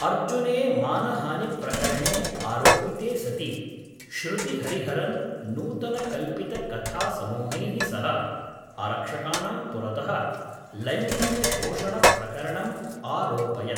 अर्जुने मानहानिप्रकरणे आरोपिते सति श्रुतिहरिहरन् नूतनकल्पितकथासमूहैः सह आरक्षकाणां पुरतः लैङ्गिकशोषणप्रकरणम् आरोपयत्।